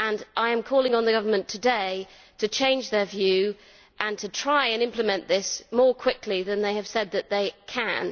I am calling on the government today to change its view and to try and implement this more quickly than it has said it can.